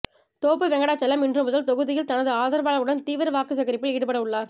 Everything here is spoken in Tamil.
தோப்பு வெங்கடாச்சலம் இன்று முதல் தொகுதியில் தனது ஆதரவாளர்களுடன் தீவிர வாக்குசேகரிப்பில் ஈடுபட உள்ளார்